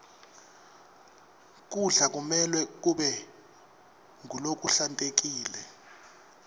kudla kumelwe kube ngulokuhlantekile